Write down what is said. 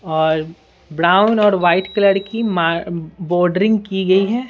और ब्राउन और white colour की बोर्डरिंग की गई है।